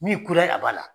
Min kura ye a b'a la